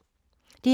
DR2